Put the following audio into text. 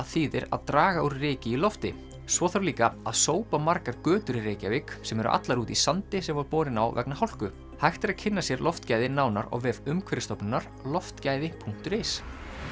þýðir að draga úr ryki í lofti svo þarf líka að sópa margar götur í Reykjavík sem eru allar úti í sandi sem var borinn á vegna hálku hægt er að kynna sér loftgæði nánar á vef Umhverfisstofnunar loftgæði punktur is